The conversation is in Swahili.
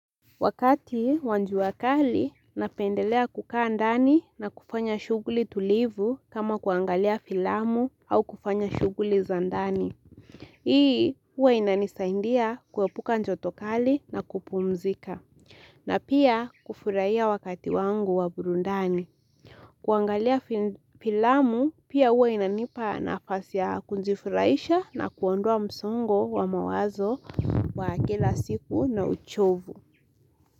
Wakati wa njua kali, napendelea kukaa ndani na kufanya shughuli tulivu kama kuangalia filamu au kufanya shughuli za ndani. Hii, huwa inanisaindia kuepuka njoto kali na kupumzika. Na pia kufurahia wakati wangu wa burundani. Kuangalia filamu, pia huwa inanipa nafasi ya kunjifurahisha na kuondoa msongo wa mawazo wa kila siku na uchovu.